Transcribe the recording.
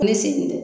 Ne segin tɛ